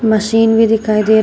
machine भी दिखाई दे र--